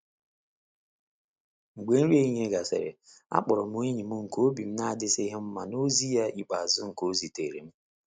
Mgbe nri ehihie gasịrị, akpọrọ m enyi m nke obi n'adisighi mma n’ozi ya ikpeazụ nke o zitere m.